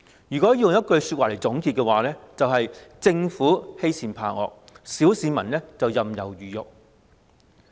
如果要用一句話來總結，便是政府欺善怕惡，小市民任人魚肉。